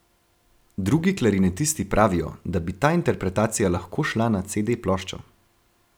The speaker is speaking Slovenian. Drugi klarinetisti pravijo, da bi ta interpretacija lahko šla na cede ploščo.